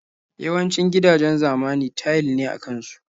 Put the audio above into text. Yawancin gidajen zamani tayil ne a ƙasan su.